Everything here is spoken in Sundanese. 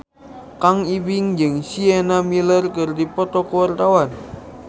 Kang Ibing jeung Sienna Miller keur dipoto ku wartawan